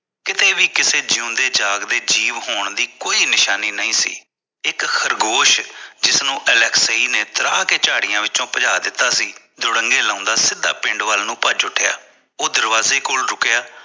ਕਿਥੇ ਵੀ ਕਿਸੇ ਜਿਉਂਦੇ ਜਾਗਦੇ ਜੀਵ ਦੀ ਕੋਈ ਨਿਸ਼ਾਨੀ ਨਹੀਂ ਸੀ ਇਕ ਖ਼ਰਗੋਸ਼ ਜਿਸ ਨੂੰ ਅਲੈਕਸਾਈ ਨੇ ਤ੍ਰਾਹ ਕੇ ਝਾੜਿਆ ਵਿੱਚੋ ਪਜਾ ਦਿੱਤਾ ਸੀ ਦੋਰੰਗੇ ਲਗਾਉਂਦਾ ਸਿੱਧਾ ਪਿੰਡ ਵੱਲ ਪਜ ਉਠਿਆ ਉਹ ਦਰਵਾਜ਼ੇ ਕੋਲ ਰੁਕਿਆ